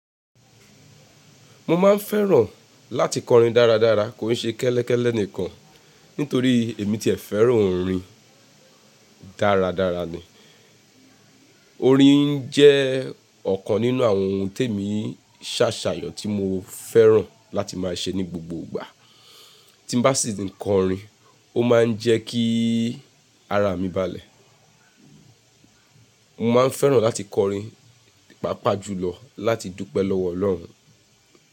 Mo máa ń fẹ́ràn láti kọrin dáradára kò ṣé kẹ́lẹ́kẹ́lẹ́ nìkan, nítorí èmí ti e fẹ́ràn orin dáradára ni. Orin jẹ́ ọ̀kan nínú àwọn ohun tèmí ṣàṣàyàn tí mo fẹ́ràn láti máa ṣe ní gbogbo ìgbà. Tí n bá ṣì ń kọrin, ó máa ń jẹ́ kí ara mi bàlẹ̀. Mo máa ń fẹ́ràn láti kọrin, pàpà jùlọ láti dúpẹ́ lọ́wọ́ Ọlọ́run.